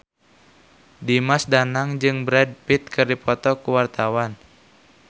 Dimas Danang jeung Brad Pitt keur dipoto ku wartawan